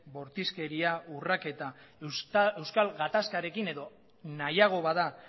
bortizkeria urraketa euskal gatazkarekin edo nahiago bada